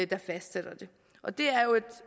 der fastsætter det og det er jo